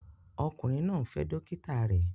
Ọkùnrin náà ń fẹ́ dókítà rẹ̀